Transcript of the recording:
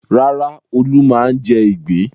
Rárá, Olú máa ń jẹ ìgbín.